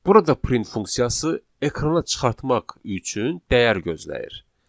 Burada print funksiyası ekrana çıxartmaq üçün dəyəri gözləyir.